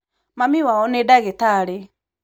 Mami wao nī ndagītarī.